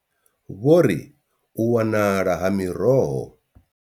Vho ri u wanala ha miroho.